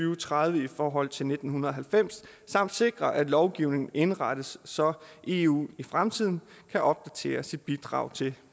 og tredive i forhold til nitten halvfems og sikre at lovgivningen indrettes så eu i fremtiden kan opdatere sit bidrag til